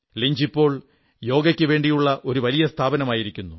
Lynch ഇപ്പോൾ യോഗയ്ക്കുവേണ്ടിയുള്ള ഒരു വലിയ സ്ഥാപനമായിരിക്കുന്നു